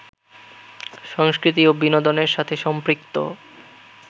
সংস্কৃতি ও বিনোদনের সাথে সম্পৃক্ত